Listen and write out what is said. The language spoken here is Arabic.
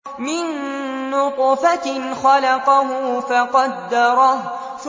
مِن نُّطْفَةٍ خَلَقَهُ فَقَدَّرَهُ